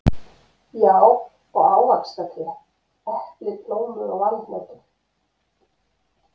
Já, og ávaxtatré: epli, plómur og valhnetur.